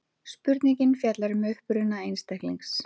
Spurningin fjallar um uppruna einstaklings.